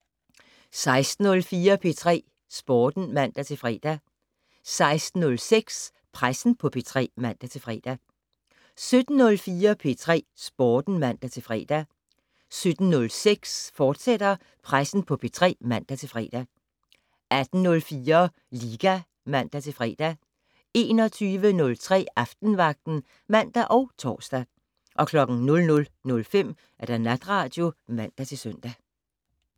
16:04: P3 Sporten (man-fre) 16:06: Pressen på P3 (man-fre) 17:04: P3 Sporten (man-fre) 17:06: Pressen på P3, fortsat (man-fre) 18:04: Liga (man-fre) 21:03: Aftenvagten (man og tor) 00:05: Natradio (man-søn)